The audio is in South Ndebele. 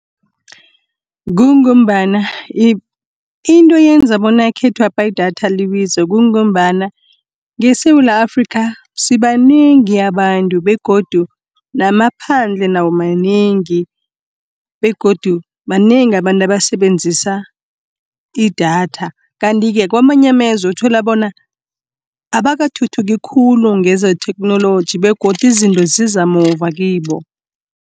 Kungombana into eyenza bona ekhethwapha idatha libize, kungombana ngeSewula Afrika sibanengi abantu, begodu naphandle nawo manengi , begodu banengi abantu abasebenzisa idatha. Kanti-ke kamanye amazwe uthola bona abakathuthuki khulu ngezetheknoloji begodu izinto ziza muva kibo.